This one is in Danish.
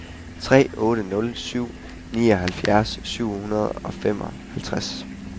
tre otte nul syv nioghalvfjerds syv hundrede og femoghalvtreds